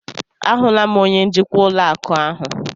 A hụla m onye njikwa ụlọ akụ ahụ.